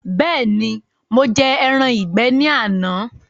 Bẹẹni, mo jẹ ẹran ìgbé ní àná.